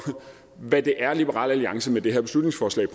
hvad det er liberal alliance med det her beslutningsforslag